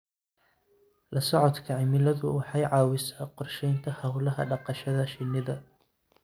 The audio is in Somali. La socodka cimiladu waxa ay caawisaa qorshaynta hawlaha dhaqashada shinnida.